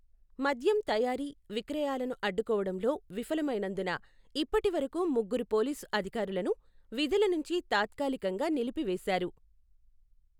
మద్యం తయారీ, విక్రయాలను అడ్డుకోవడంలో విఫలమైనందున ఇప్పటి వరకు ముగ్గురు పోలీసు అధికారులను విధుల నుంచి తాత్కాలికంగా నిలిపివేశారు.